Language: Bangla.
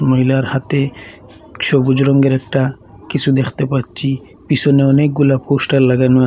মহিলার হাতে সবুজ রঙ্গের একটা কিসু দেখতে পাচ্ছি পিসনে অনেকগুলা পোস্টার লাগানো আ--